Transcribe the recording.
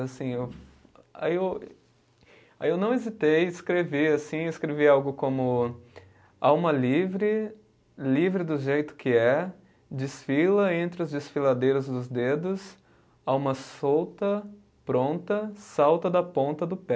Assim eu, aí eu, aí eu não hesitei escrever assim, escrevi algo como Alma livre, livre do jeito que é, desfila entre os desfiladeiros dos dedos, alma solta, pronta, salta da ponta do pé.